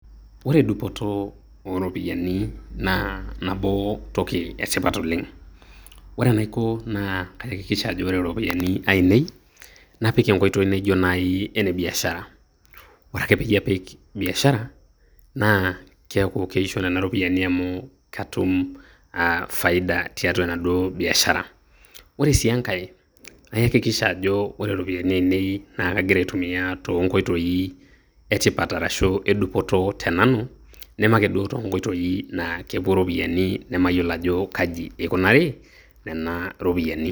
Ore dupoto ooropyiani naa nabo toki etipat oleng, ore enaiko naa kaakikisha ajo ore iropyiani ainei napik enkoitoi naaijio naaji ene biashara ore ake pee apik biasha naa keishio nena ropiyiani amu ketum faida tiatua enaduo biashara ore sii enkae naakikisha ajo ore iropiyiani ainei kagira aitumia toonkoitoi etipat arashuu edupoto tenanu neme ake duo toonkoitoi naa kepuo iropiyiani nemayiolo ajo kaji eikunari nena ropiyiani.